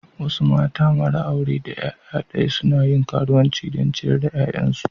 Wasu mata mara aure daya yaya daya suna yin karuwanci don ciyar da 'ya'yansu.